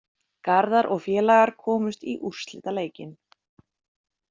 Garðar og félagar komust í úrslitaleikinn